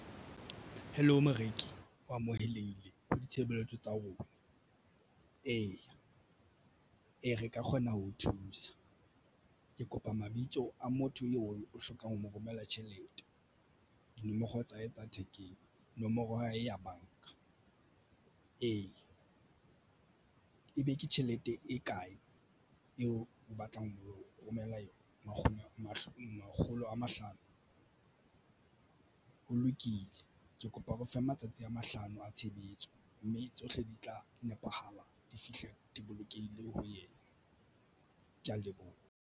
Hello moreki o amoheleile ho ditshebeletso tsa rona. Eya, e re ka kgona ho o thusa ke kopa mabitso a motho eo o hlokang ho mo romela tjhelete dinomoro tsa hae tsa thekeng nomoro ha e ya banka ee, ebe ke tjhelete e kae eo o batlang ho romela nkgono mahlo. Makgolo a mahlano ho lokile. Ke kopa o re fe matsatsi a mahlano a tshebetso mme tsohle di tla nepahala di fihle di bolokehile ho yena. Ke ya leboha.